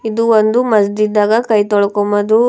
ಇದು ಒಂದು ಮಸ್ಜಿದ್ ಆಗ ಕೈ ತೊಳ್ಕೊಂಬದು ಪ್ಲೇ--